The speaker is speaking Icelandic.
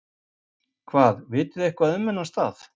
Hvað, vitið þið eitthvað um þennan stað?